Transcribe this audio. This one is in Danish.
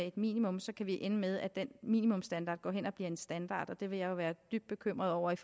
et minimum så kan vi ende med at den minimumsstandard går hen og bliver en standard og der vil jeg jo være dybt bekymret over at